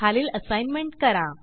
खालील असाईनमेंट करा